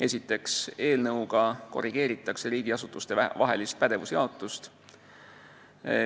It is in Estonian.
Esiteks, eelnõuga korrigeeritakse riigiasutuste pädevuse jaotust.